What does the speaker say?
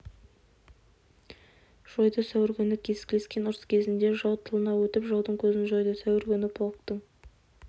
жойды сәуір күні кескілескен ұрыс кезінде жау тылына өтіп жаудың көзін жойды сәуір күні полктің